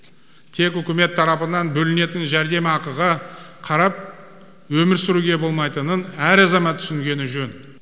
тек үкімет тарапынан бөлінетін жәрдемақыға қарап өмір сүруге болмайтынын әр азамат түсінгені жөн